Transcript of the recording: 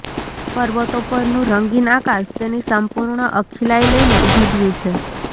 પર્વતો પરનું રંગીન આકાશ તેની સંપૂર્ણ અખિલાઈ લઈને ઉઘડ્યું છે